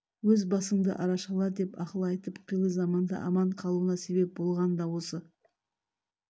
өз басыңды арашала деп ақыл айтып қилы заманда аман қалуына себеп болған да осы